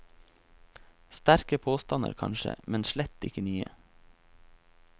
Sterke påstander kanskje, men slett ikke nye.